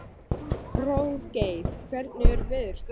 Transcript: Hróðgeir, hvernig er veðurspáin?